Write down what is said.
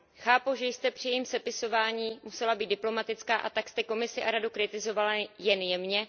Chápu, že jste při jejím sepisování musela být diplomatická, a tak jste Komisi a Radu kritizovala jen jemně.